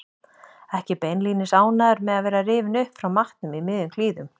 Ekki beinlínis ánægður með að vera rifinn upp frá matnum í miðjum klíðum.